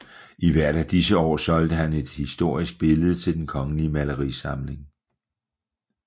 I hvert af disse år solgte han et historisk billede til Den Kongelige Malerisamling